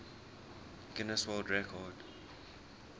guinness world record